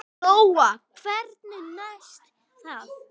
Lóa: Hvernig næst það?